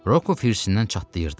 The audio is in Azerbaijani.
Rokov hirslərindən çatlayırdı.